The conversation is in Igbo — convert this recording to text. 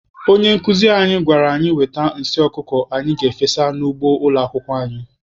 Onye nkuzi anyị gwara anyị wete nsị ọkụkọ anyị ga-efesa n'ugbo ụlọ akwụkwọ anyị.